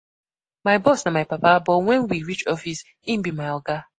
My boss na my papa, but wen we reach office, im be my oga.